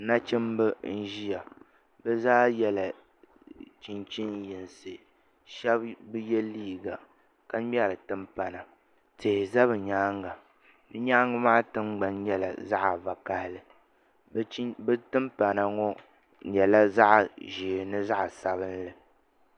Nachimba n ʒiya bi zaa yɛla chinchin yinsi shaba bi yɛ liiga ka ŋmɛri timpana tihi ʒɛ bi nyaanga di nyaanga maa tiŋgbani nyɛla zaɣ'vakaɣili bi timpana ŋo nyɛla zaɣ ʒɛɛ ni zaɣ'sabinli